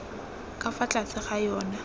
ka fa tlase ga yona